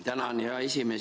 Tänan, hea esimees!